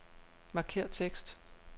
Markér tekst.